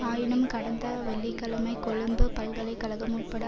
ஆயினும் கடந்த வெள்ளி கிழமை கொழும்பு பல்கலை கழகம் உட்பட